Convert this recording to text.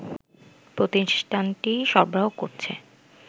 প্রতিষ্ঠানটি সরবরাহ করছে